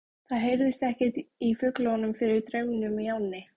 Það heyrðist ekkert í fuglunum fyrir drununum í ánni.